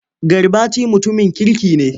Garbati mutumin kirki ne.